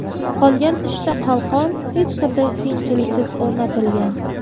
Qolgan uchta qalqon hech qanday qiyinchiliksiz o‘rnatilgan.